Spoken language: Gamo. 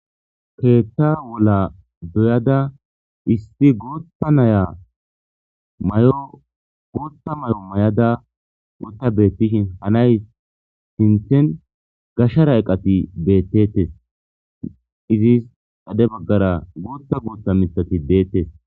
keetha wola doyada issi gootta naya mayo guutta mayo mayada wotta beettishin ha naye sinthen gashara iqati beettettes. Izis dade baggara guuta guutta mithati deettes.